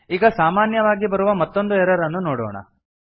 ಈಗ ಸಾಮಾನ್ಯವಾಗಿ ಬರುವ ಮತ್ತೊಂದು ಎರರ್ ಅನ್ನು ನೋಡೋಣ